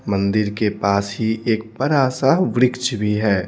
मंदिर के पास ही एक बड़ा सा वृक्ष भी है।